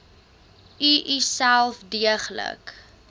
u uself deeglik